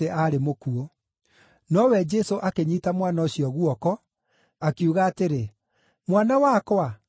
Nowe Jesũ akĩnyiita mwana ũcio guoko, akiuga atĩrĩ, “Mwana wakwa, ũkĩra!”